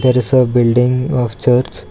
there is a building of church.